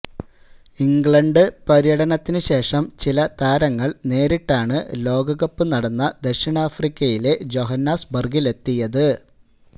England പര്യടനത്തിന് ശേഷം ചില താരങ്ങൾ നേരിട്ടാണ് ലോകകപ്പ് നടന്ന ദക്ഷിണാഫ്രിക്കയിലെ ജോഹന്നാസ്ബർഗിലെത്തിയത്